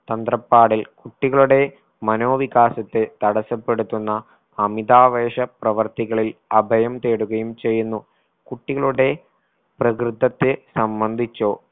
തന്ത്രപ്പാടിൽ കുട്ടികളുടെ മനോവികാസത്തെ തടസപ്പെട്ടുത്തുന്ന അമിതാവേശ പ്രവൃത്തികളിൽ അഭയം തേടുകയും ചെയ്യുന്നു. കുട്ടികളുടെ പ്രകൃതത്തെ സംബന്ധിച്ചോ